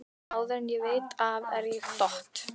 Áður en ég veit af er ég dott